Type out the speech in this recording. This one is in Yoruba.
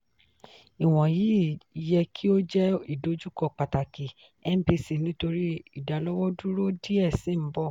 iwọnyi yẹ ki o jẹ idojukọ pataki mpc nitori idalọwọduro diẹ sii n bọ.